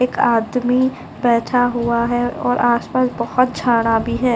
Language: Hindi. एक आदमी बैठा हुआ है और आसपास बहुत झाड़ा भी है।